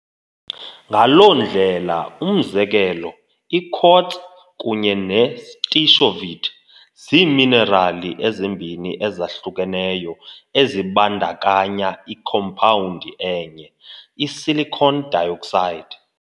Ngaloo ndlela, umzekelo, i-quartz kunye ne-stishovite ziiminerali ezimbini ezahlukeneyo ezibandakanya ikhompawundi enye, i-silicon dioxide.